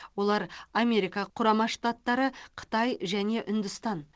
олар америка құрама штаттары қытай және үндістан